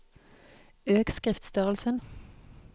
Øk skriftstørrelsen